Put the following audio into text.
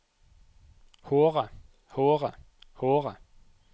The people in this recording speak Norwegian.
håret håret håret